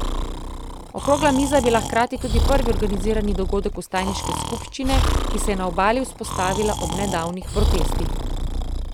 Okrogla miza je bila hkrati tudi prvi organizirani dogodek vstajniške skupščine, ki se je na Obali vzpostavila ob nedavnih protestih.